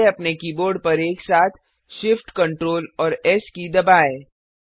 पहले अपने कीबोर्ड पर एक साथ Shift Ctrl और एस की दबाएँ